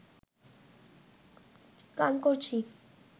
গান করছি